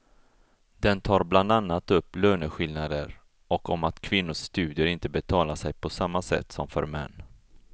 Den tar bland annat upp löneskillnader och om att kvinnors studier inte betalar sig på samma sätt som för män.